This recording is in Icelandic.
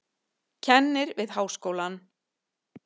Kennir við háskólann.